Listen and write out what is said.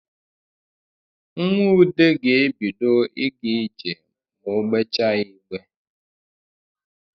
Nwa ude ga-ebido ịga ije ma o gbejaa igbe